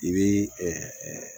I bi